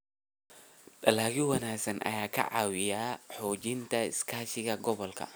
Dalagyo wanaagsan ayaa ka caawiya xoojinta iskaashiga gobolka.